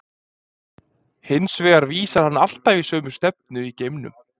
Hins vegar vísar hann alltaf í sömu stefnu í geimnum.